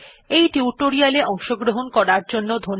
এই টিউটোরিয়াল এ অংশগ্রহন করার জন্য ধন্যবাদ